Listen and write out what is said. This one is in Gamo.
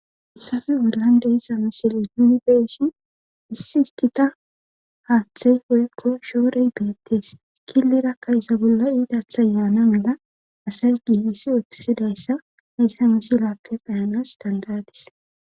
hayssafe bollan deiza misile nunibe,shin issi gita haaththey woykko shoorey beettees killerakka iza bolla iidathan yaana mala asay giigisi oottisidayssa heyssa misilappe pheyanas dandadis